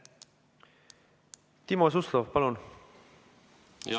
Timo Suslov, palun!